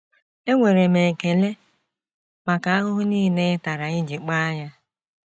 Enwere m ekele maka ahụhụ nile ị tara iji kpaa ya.